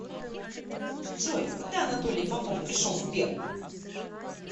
джой когда анатолий попов пришел в сбер